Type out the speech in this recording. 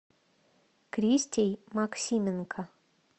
кристей максименко